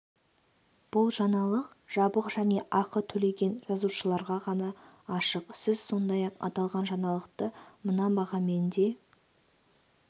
бұл жаңалық жабық және ақы төлеген жазылушыларға ғана ашық сіз сондай-ақ аталған жаңалықты мына бағамен де